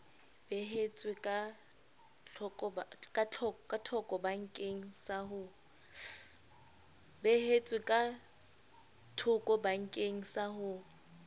beehetswe ka thokobakeng sa ho